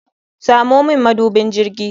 Samo min mabudin jirgi.